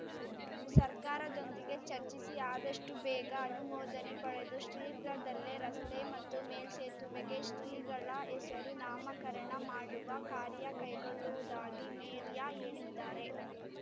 ಸರ್ಕಾರದೊಂದಿಗೆ ಚರ್ಚಿಸಿ ಆದಷ್ಟುಬೇಗ ಅನುಮೋದನೆ ಪಡೆದು ಶೀಘ್ರದಲ್ಲೇ ರಸ್ತೆ ಮತ್ತು ಮೇಲ್ಸೇತುವೆಗೆ ಶ್ರೀಗಳ ಹೆಸರು ನಾಮಕರಣ ಮಾಡುವ ಕಾರ್ಯ ಕೈಗೊಳ್ಳುವುದಾಗಿ ಮೇರ್ಯ ಹೇಳಿದ್ದಾರೆ